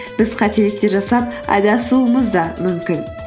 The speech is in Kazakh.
біз қателіктер жасап адасуымыз да мүмкін